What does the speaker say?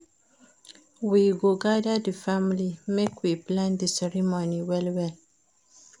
We go gather di family, make we plan di ceremony well-well.